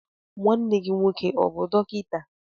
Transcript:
Nwanne gị nwoke ọ bụ dọkịta?